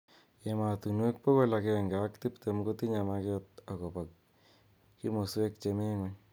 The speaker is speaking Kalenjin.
Emotunwek bokol agenge ak tip tem kotinye maket akobo kimoswek chemi ng'uny.